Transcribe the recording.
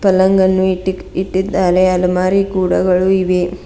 ಪಲ್ಲಂಗನ್ನು ಇಟ್ಟಿ ಇಟ್ಟಿದ್ದಾರೆ ಅಲಮಾರಿ ಕೂಡ ಇವೆ.